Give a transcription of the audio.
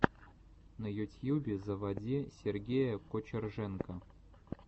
на ютьюбе заводи сергея кочерженко